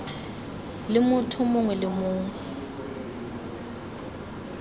le motho mongwe le mongwe